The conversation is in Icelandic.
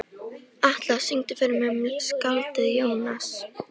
Atlas, syngdu fyrir mig „Um skáldið Jónas“.